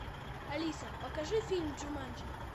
алиса покажи фильм джуманджи